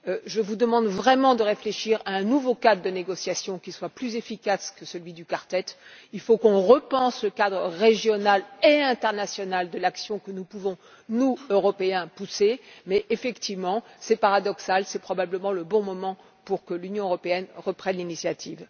Je vous demande vraiment de réfléchir à un nouveau cadre de négociations qui soit plus efficace que celui du quartette. Il faut qu'on repense le cadre régional et international de l'action que nous pouvons, nous Européens, promouvoir. Effectivement, c'est paradoxal mais c'est probablement le bon moment pour que l'Union européenne reprenne l'initiative.